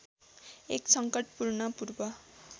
एक संकटपूर्ण पूर्व